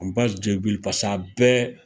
pas'a bɛɛ